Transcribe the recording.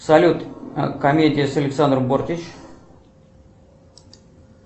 салют комедия с александрой бортич